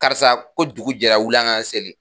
Karisa ko jugu jɛra wuli an kan seli.